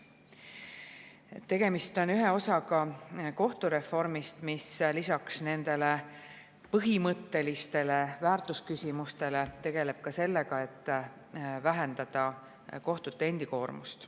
Tegemist on ühe osaga kohtureformist, mis lisaks nendele põhimõttelistele väärtusküsimustele tegeleb sellega, et vähendada kohtute koormust.